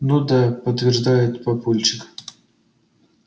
ну да подтверждает папульчик